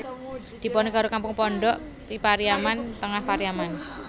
Diponegoro Kampung Pondok I Pariaman Tengah Pariaman